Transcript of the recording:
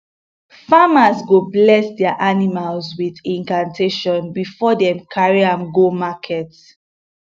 farmers go bless their animals with incantation before dem carry am go market